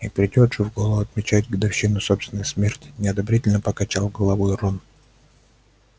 и придёт же в голову отмечать годовщину собственной смерти неодобрительно покачал головой рон